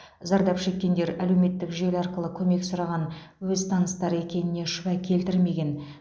зардап шеккендер әлеуметтік желі арқылы көмек сұраған өз таныстары екеніне шүбә келтірмеген